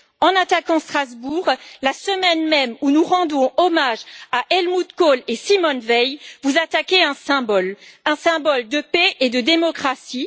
En attaquant Strasbourg la semaine même où nous rendons hommage à Helmut Kohl et à Simone Veil, vous attaquez un symbole, un symbole de paix et de démocratie.